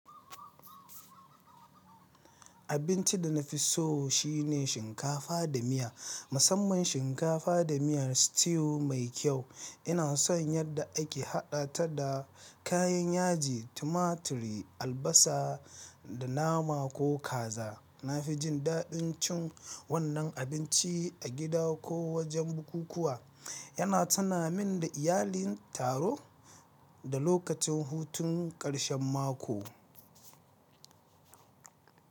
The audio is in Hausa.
Abinci da na fi so shine shinkafa da miya, musamman shinkafa da miyar stew mai kyau. Ina son yadda ake haɗa ta da kayan yaji, tumaturi, albasa da nama ko kaza. Na fi jin daɗin cin wannan abinci a gida ko wajen bukukuwa. Yana tuna min da iyalin taro da lokacin hutun ƙarshen mako.